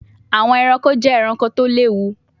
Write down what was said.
Awọn ẹranko jẹ ẹranko ti o lewu